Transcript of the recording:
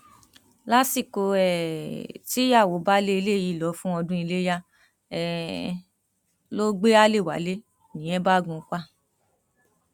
lásìkò um tíyàwó baálé ilé yìí lọ fún ọdún iléyà um ló gbé alẹ wálé nìyẹn bá gùn ún pa